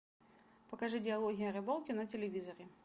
покажи диалоги о рыбалке на телевизоре